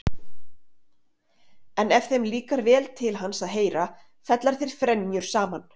En ef þeim líkar vel til hans að heyra fella þeir frenjur saman.